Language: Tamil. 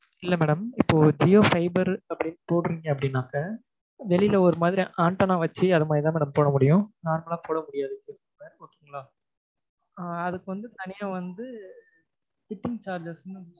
இல்ல madam இப்ப ஜியோ fiber அப்படினு போடறீங்க அப்படினாக்கா வெளில ஒரு மாதிரி antenna வச்சு அது மாதிரிதான் madam போடமுடியும் normal ஆ போடமுடியாது okay ங்களா? ஆஹ் அதுக்கு வந்து தனியா வந்து fitting charges னு